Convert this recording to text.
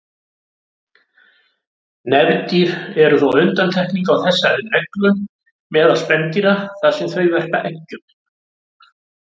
Nefdýr eru þó undantekningin á þessari reglu meðal spendýra þar sem þau verpa eggjum.